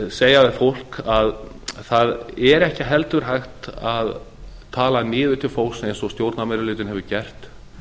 segja við fólk að það er ekki heldur hægt að tala niður til fólks eins og stjórnarmeirihlutinn hefur gert